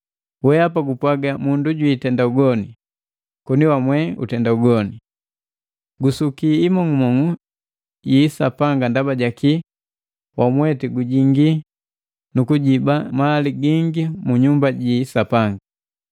Weapa gupwaga, “Mundu jwiitenda ugoni,” koni wamwe utenda ugoni. Gusuki imong'umong'u yi isapanga ndaba jaki wamweti gujingi nukujiba mali gingi mu nyumba ji isapanga.